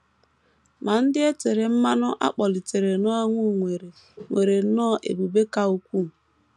Ma ndị e tere mmanụ a kpọlitere n’ọnwụ nwere nwere nnọọ ebube ka ukwuu.